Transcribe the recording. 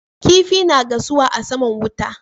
Kifa na gasuwa a saman wuta